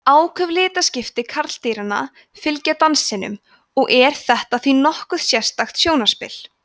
áköf litaskipti karldýranna fylgja dansinum og er þetta því nokkuð sérstakt sjónarspil